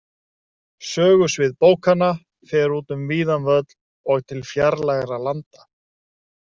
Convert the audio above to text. Sögusvið bókanna fer út um víðan völl og til fjarlægra landa.